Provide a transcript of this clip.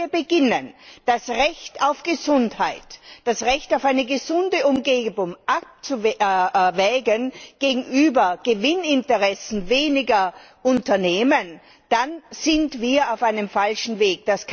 Denn wenn wir beginnen, das Recht auf Gesundheit, das Recht auf eine gesunde Umgebung abzuwägen gegenüber den Gewinninteressen weniger Unternehmen, dann sind wir auf einem falschen Weg.